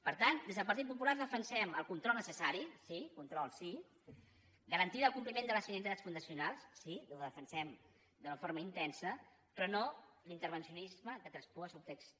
per tant des del partit popular defensem el control necessari sí control sí garantir el compliment de les finalitats fundacionals sí ho defensem d’una forma intensa però no l’intervencionisme que traspua el seu text